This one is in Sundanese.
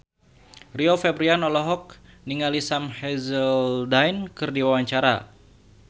Rio Febrian olohok ningali Sam Hazeldine keur diwawancara